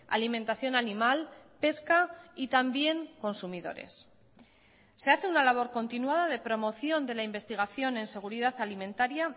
alimentación animal pesca y también se hace una labor continuada de promoción de la investigación en seguridad alimentaria